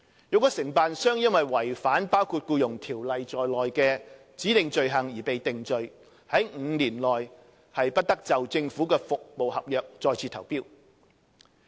若承辦商因違反包括《僱傭條例》在內的指定罪行而被定罪 ，5 年內將不得就政府服務合約再次投標。